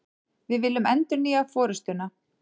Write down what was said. Við viljum endurnýja forustuna